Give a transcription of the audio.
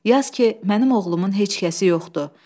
Yaz ki, mənim oğlumun heç kəsi yoxdur.